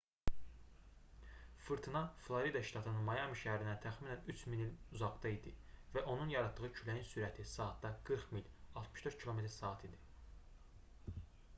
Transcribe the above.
fırtına florida ştatının mayami şəhərindən təxminən 3000 mil uzaqda idi və onun yaratdığı küləyin sürəti saatda 40 mil 64 km/saat idi